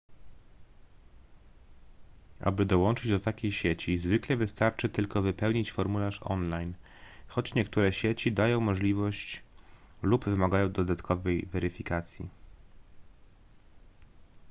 aby dołączyć do takiej sieci zwykle wystarczy tylko wypełnić formularz online choć niektóre sieci dają możliwość lub wymagają dodatkowej weryfikacji